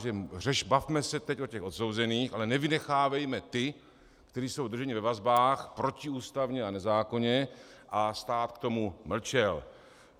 Takže bavme se teď o těch odsouzených, ale nevynechávejme ty, kteří jsou drženi ve vazbách protiústavně a nezákonně, a stát k tomu mlčel.